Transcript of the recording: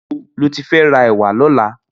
Nibó ló ti fè rà èwà lòlà?